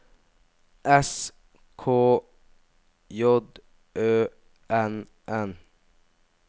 S K J Ø N N